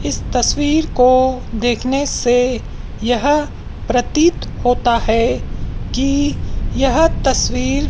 इस तस्वीर को देखने से यह प्रतीत होता है कि यह तस्वीर--